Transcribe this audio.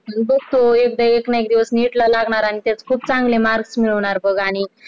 बसो एक ना एक दिवस NEET एकला लागणार आणि त्यात खुप चांगले marks मिळवणार बघ आणि